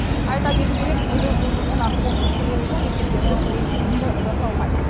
айта кету керек биыл осы сынақ қорытындысы бойынша мектептердің рейтингісі жасалмайды